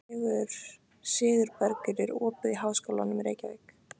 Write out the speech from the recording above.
Sigurbergur, er opið í Háskólanum í Reykjavík?